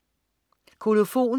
Kolofon